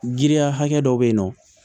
Giriya hakɛ dɔ be yen nɔ